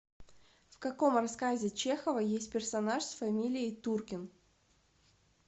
в каком рассказе чехова есть персонаж с фамилией туркин